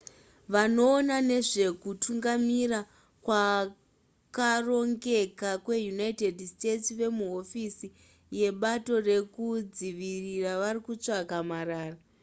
vanoona nezvekutungamira kwakarongeka kweunited states vemuhofisi yebato rekudzivirira varikutsvaka marara